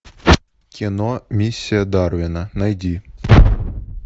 кино миссия дарвина найди